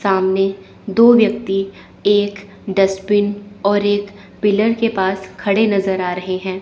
सामने दो व्यक्ति एक डस्टबिन और एक पिलर के पास खड़े नजर आ रहे हैं।